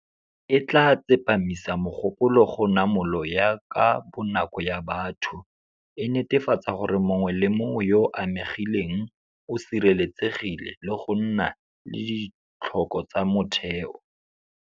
E tla tsepamisa mogopolo go namolo ya ka bonako ya batho, e netefatsa gore mongwe le mongwe yo o amegileng o sireletsegile le go nna le ditlhoko tsa motheo.